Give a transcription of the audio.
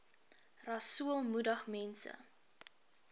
rasool moedig mense